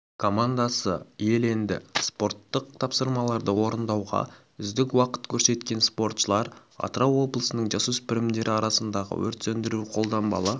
командасы иеленді спорттық тапсырмаларды орындауда үздік уақыт көрсеткен спортшылар атырау облысының жасөспірімдер арасындағы өрт сөндіру-қолданбалы